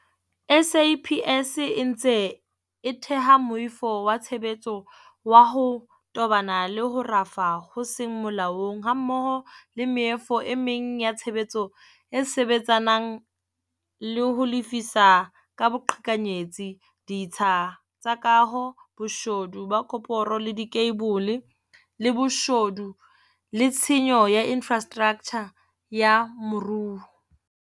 SAPS e ntse e theha moifo wa tshebetso wa ho tobana le ho rafa ho seng molaong, hammoho le meifo e meng ya tshebetso e sebetsanang le ho lefisa ka boqhekanyetsi ditsha tsa kaho, boshodu ba koporo le dikheibole, le boshodu le tshenyo ya infrastraktjha ya moruo.